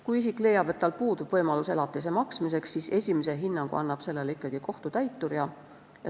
Kui isik leiab, et tal pole võimalik elatist maksta, siis annab sellele esimese hinnangu ikkagi kohtutäitur.